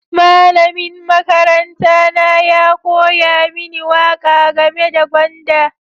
Malamin makaranta na ya koya mini waƙa game da gwanda.